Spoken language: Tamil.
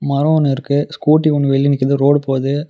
மரோ ஒன்னு இருக்கு ஸ்கூட்டி ஒன்னு வெளிய நிக்கிது ரோடு போது.